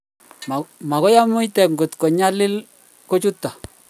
magoi amuita kole nyalili kuchotok